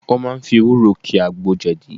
Wọ́n máa fi ewúro ki àgbo jẹ̀dí